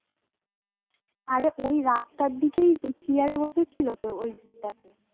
অরে ওই রাস্তার দিকেই চিয়ারে বসে ছিল তো ওই